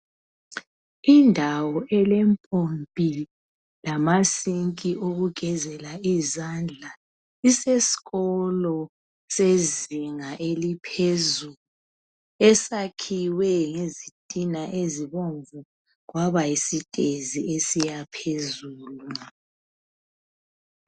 Indawo elempompi lamasinki wokugezela izandla iseskolo sezinga eliphezulu esakhiwe ngezitina ezibomvu kwabayisitezi esiyaphezulu.